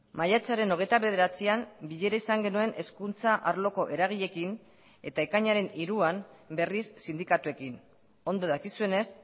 maiatzaren hogeita bederatzian bilera izan genuen hezkuntza arloko eragileekin eta ekainaren hiruan berriz sindikatuekin ondo dakizuenez